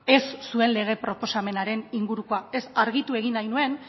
ez zuen lege proposamenaren ingurukoa argitu egin nahi nuen